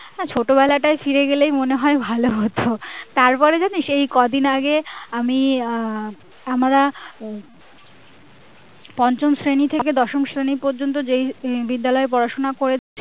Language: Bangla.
না ছোটবেলাটাই ফিরে গেলেই মনে হয় ভালো হতো তারপরে জানিস এই কদিন আগে আমি আহ আমরা পঞ্চম শ্রেণী থেকে দশম শ্রেণী পর্যন্ত যে বিদ্যালয়ে পড়াশোনা করেছি আহ